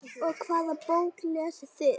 Og hvaða bók lesið þið?